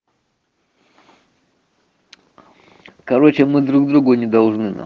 короче мы друг другу не должны на